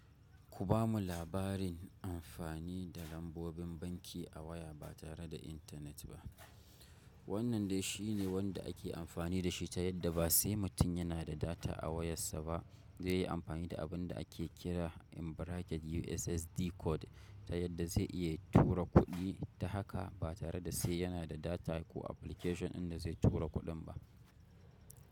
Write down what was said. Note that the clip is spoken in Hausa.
Ku bamu labarin amfani da lambobin banki a waya ba tare da intanet ba. Wannan de shi ne wanda ake amfani da shi ta yadda ba se mutun yana da data a wayassa ba ze yi amfani da abin da ake kira in bracket USSD Code ta yadda ze iya tura kuɗi ta haka ba tare da se yana da data ko application in da zaitura kuɗin ba.